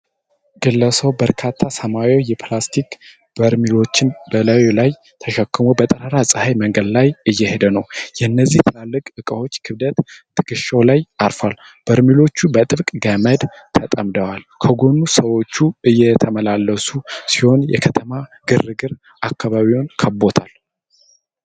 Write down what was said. ግለሰቡ በርካታ ሰማያዊ የፕላስቲክ በርሜሎችን በላዩ ላይ ተሸክሞ በጠራራ ፀሐይ መንገድ ላይ እየሄደ ነው። የእነዚህ ትላልቅ እቃዎች ክብደት ትከሻው ላይ አርፏል። በርሜሎቹ በጥብቅ በገመድ ተጠምደዋል። ከጎኑ ሰዎች እየተመላለሱ ሲሆን፣ የከተማ ግርግር አካባቢውን ከቧል።